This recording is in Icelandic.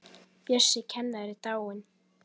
Bjössi kennari er dáinn.